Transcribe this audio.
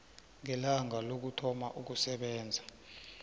ngelanga lokuthoma ukusebenza